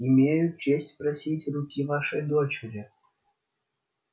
имею честь просить руки вашей дочери